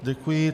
Děkuji.